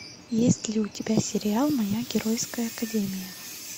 есть ли у тебя сериал моя геройская академия